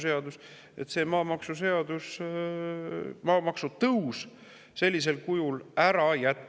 Täna järgneb see maamaksuseadusega, et maamaksu tõus sellisel kujul ära jätta.